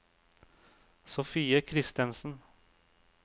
Sofie Christensen